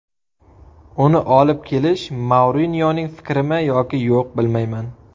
Uni olib kelish Mourinyoning fikrimi yoki yo‘q, bilmayman.